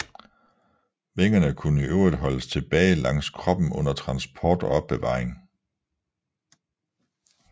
Vingerne kunne i øvrigt foldes tilbage langs kroppen under transport og opbevaring